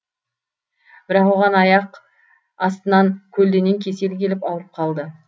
бірақ оған аяқ астынан көлденең кесел келіп ауырып қалды